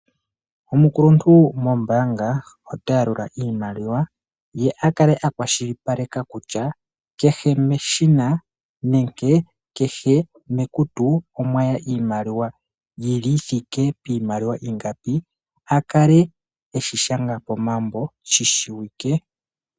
Omukuluntu gwombaanga oha yalula iimaliwa ye akale akwashilipaleka kutya kehe mekutu omwata iimaliwa ingapi yithike iimaliwa ingapi eyi sgange mimambo sho shi kale shishiwike.